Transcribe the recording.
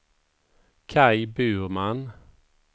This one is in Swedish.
Kaj Burman